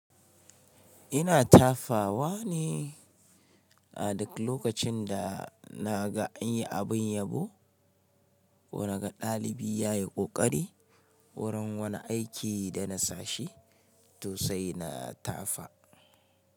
Ina tafawa ne a duk lokacin da na ga an yi abin yabo ko na ga ɗalibi ya yi ƙoƙari wurin wani aiki da na sashi to sai na tafa.